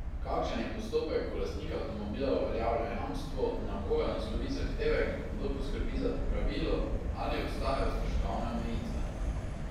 Kakšen je postopek, ko lastnik avtomobila uveljavlja jamstvo, na koga naslovi zahtevek, kdo poskrbi za popravilo, ali obstajajo stroškovne omejitve?